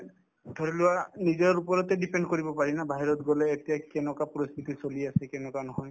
ধৰিলোৱা নিজৰ ওপৰতে depend কৰিব পাৰি ন বাহিৰত গলে এতিয়া কেনেকুৱা পৰিস্থিতি চলি আছে কেনেকুৱা নহয়